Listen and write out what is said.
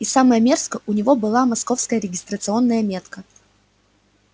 и самое мерзкое у него была московская регистрационная метка